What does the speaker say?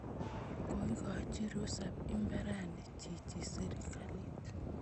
Koikochi rusap imbarani chichi sirikalit